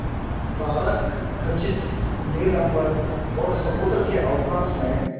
तारकखचित नील अंबर और समुद्र के अवकाश में